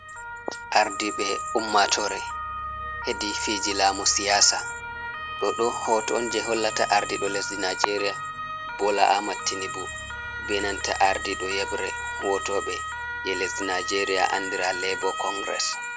Ardiɓe ummatore, hedi fiji lamu siyasa, ɗoɗo hoton je hollata ardiɗo lesdi nijeria, bola amed tinibu, benanta ardiɗo yebre wotoɓe je lesdi nijeria andira lebo kongires.